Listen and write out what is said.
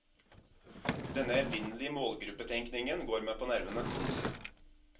Denne evinnelige målgruppetenkningen går meg på nervene.